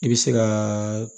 I bɛ se ka